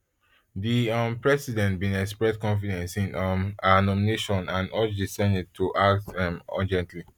di um president bin express confidence in um her nomination and urge di senate to act urgently